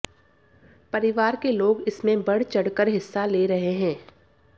परिवार के लोग इसमें बढ़चढ़ कर हिस्सा ले रहे है